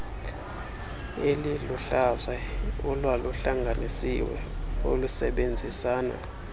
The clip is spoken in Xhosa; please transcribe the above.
eliluhlaza olwaluhlanganisiwe olusebenzisana